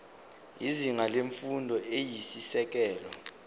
izinga lemfundo eyisisekelo